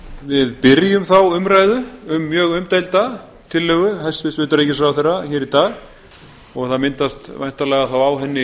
við byrjum þá umræðu um mjög umdeilda tillögu hæstvirts utanríkisráðherra hér í dag og væntanlega myndast þá á henni